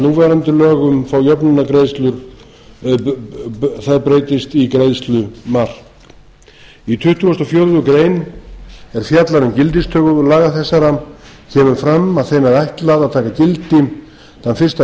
núverandi lögum fá jöfnunargreiðslur það breytist í greiðslumark í tuttugasta og fjórðu grein sem fjallar um gildistöku laga þessara kemur fram að þeim er ætlað að taka gildi þann fyrsta